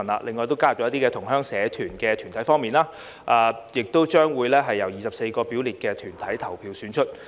另外，在新加入如同鄉社團團體選民方面，選委將會由24個列明團體投票選出。